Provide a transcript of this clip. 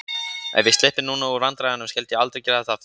Ef ég slyppi núna úr vandræðunum, skyldi ég aldrei gera þetta aftur.